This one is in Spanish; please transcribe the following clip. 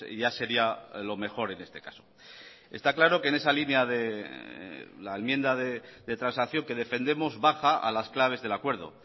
ya sería lo mejor en este caso está claro que en esa línea de la enmienda de transacción que defendemos baja a las claves del acuerdo